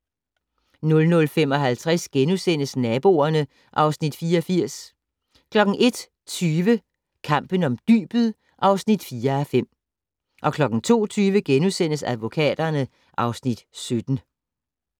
00:55: Naboerne (Afs. 84)* 01:20: Kampen om dybet (4:5) 02:20: Advokaterne (Afs. 17)*